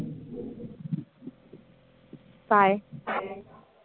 काय?